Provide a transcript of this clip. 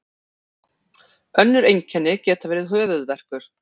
önnur einkenni geta verið höfuðverkur